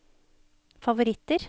favoritter